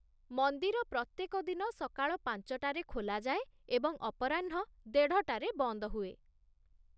ମନ୍ଦିର ପ୍ରତ୍ୟେକ ଦିନ ସକାଳ ପାଞ୍ଚ ଟାରେ ଖୋଲାଯାଏ ଏବଂ ଅପରାହ୍ନ ଦେଢ଼ ଟାରେ ବନ୍ଦ ହୁଏ।